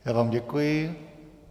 Já vám děkuji.